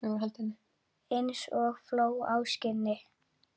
Eins og fló á skinni.